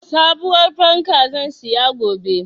Sabuwar fanka zan siya gobe.